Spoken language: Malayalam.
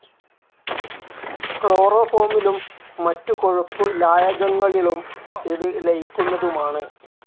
ക്ലോറോഫോമിലും മറ്റു കൊഴുപ്പ് ലായകങ്ങളിളും ഇത് ലയിക്കുന്നതുമാണ്.